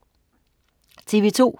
TV2: